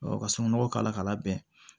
ka sununkun nɔgɔ k'a la k'a labɛn